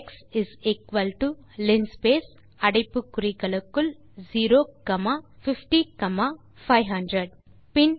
X is equal to linspace அடைப்பு குறிகளுக்குள் 0 comma 50500